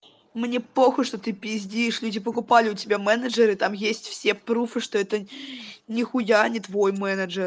мне похуй что ты пиздишь люди покупали у тебя менеджеры там есть все пруфы что это нихуя не твой менеджер